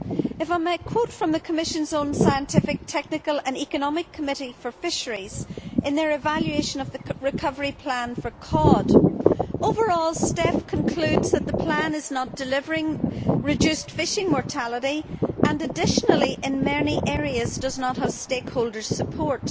If I might quote from the Commission's own Scientific, Technical and Economic Committee for Fisheries in their evaluation of the recovery plan for cod, overall STECF concludes that the plan is not delivering reduced fishing mortality and, additionally, in many areas does not have stakeholders' support.